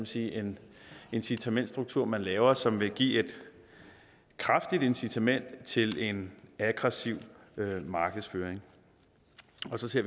sige en incitamentsstruktur man laver som vil give et kraftigt incitament til en aggressiv markedsføring